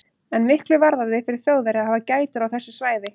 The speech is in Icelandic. En miklu varðaði fyrir Þjóðverja að hafa gætur á þessu svæði.